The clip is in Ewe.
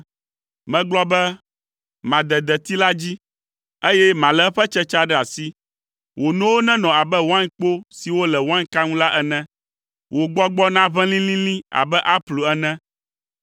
Megblɔ be, “Made deti la dzi, eye malé eƒe tsetsea ɖe asi.” Wò nowo nenɔ abe wainkpo siwo le wainka ŋu la ene, wò gbɔgbɔ naʋẽ lĩlĩlĩ abe aplu ene,